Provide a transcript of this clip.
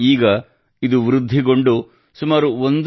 ಈಗ ಇದು ವೃದ್ಧಿಗೊಂಡು ಸುಮಾರು 1